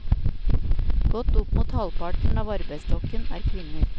Godt opp mot halvparten av arbeidsstokken er kvinner.